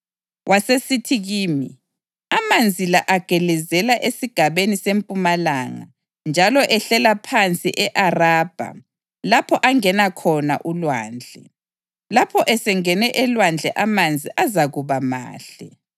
Wasesithi kimi, “Amanzi la agelezela esigabeni sempumalanga njalo ehlela phansi e-Arabha lapho angena khona ulwandle. Lapho esengene elwandle amanzi azakuba mahle.